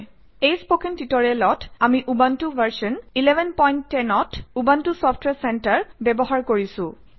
এই স্পকেন টিউটৰিয়েলত আমি উবুণ্টু ভাৰ্চন 1110 অত উবুণ্টু চফট্ৱেৰ চেণ্টাৰ ব্যৱহাৰ কৰিছোঁ